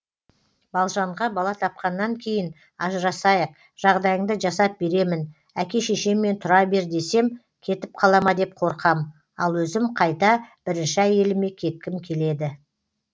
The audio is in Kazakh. балжанға бала тапқаннан кейін ажырасайық жағдайыңды жасап беремін әке шешеммен тұра бер десем кетіп қалама деп қорқам ал өзім қайта бірінші әйеліме кеткім келеді